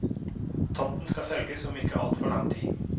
Tomten skal selges om ikke altfor lang tid.